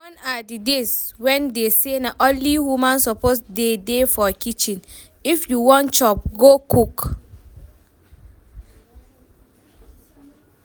Gone are the days when dey say only woman suppose dey dey for kitchen, if you wan chop go cook